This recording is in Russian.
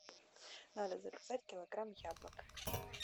надо заказать килограмм яблок